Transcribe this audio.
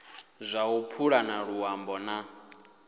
dza u pulana luambo na